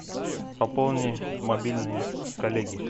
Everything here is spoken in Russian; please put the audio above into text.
пополни мобильный коллеги